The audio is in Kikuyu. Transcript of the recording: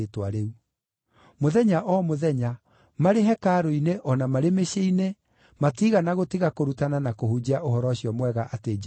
Mũthenya o mũthenya, marĩ hekarũ-inĩ o na marĩ mĩciĩ-inĩ, matiigana gũtiga kũrutana na kũhunjia ũhoro ũcio mwega atĩ Jesũ nĩwe Kristũ.